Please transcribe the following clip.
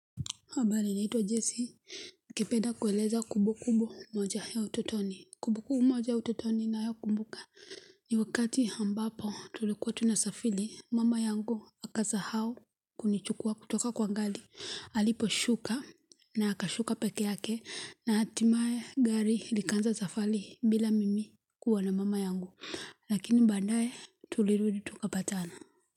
Habali naitwa Jesi, nikipenda kueleza kumbukumbu moja ya utotoni, kumbu kumbu moja ya utotoni ninayokumbuka. Ni wakati ambapo tulikuwa tunasafili, mama yangu akasahau kunichukua kutoka kwa ngali. Aliposhuka naakashuka peke yake na hatimaye gari likanza zafali bila mimi kuwa na mama yangu. Lakini badaye tulirudi tukapatana.